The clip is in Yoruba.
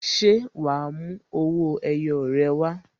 Ṣé wa mú owó ẹyọ rẹ wá?